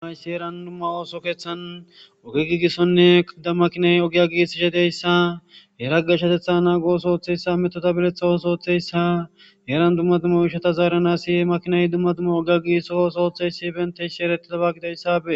Hayssi heeran dumma ooso keeththan oge giigissonne ha mmakinay ogya giigis ishe diyassa yerageshatetha naagoos ooththeyssa metota biletha wos ooththeyssa yeeran dumma duuma oyshata zaaranasi makinay dumma duuma ogiya giisos ootheysi benteys shi erettidaba gidayssi bentesi.